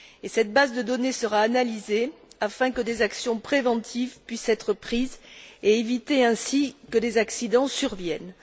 Cette base de données sera analysée afin que des mesures préventives puissent être prises et éviter ainsi que des accidents surviennent.